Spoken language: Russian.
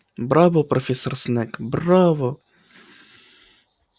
браво профессор снегг браво